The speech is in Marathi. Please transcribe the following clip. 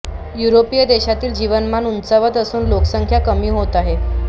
युरोपीय देशातील जीवनमान उंचावत असून लोकसंख्या कमी होत आहे